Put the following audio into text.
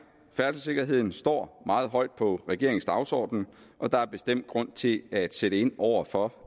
færdselssikkerheden står meget højt på regeringens dagsorden og der er bestemt grund til at sætte ind over for